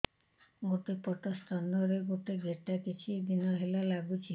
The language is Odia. ଗୋଟେ ପଟ ସ୍ତନ ରେ ଗୋଟେ ଗେଟା କିଛି ଦିନ ହେଲା ଲାଗୁଛି